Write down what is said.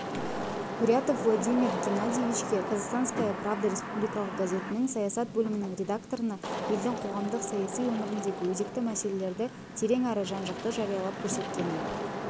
курятов владимир геннадьевичке казахстанская правда республикалық газетінің саясат бөлімінің редакторына елдің қоғамдық-саяси өміріндегі өзекті мәселелерді терең әрі жан-жақты жариялап-көрсеткені